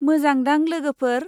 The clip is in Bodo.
मोजां दांलोगोफोर।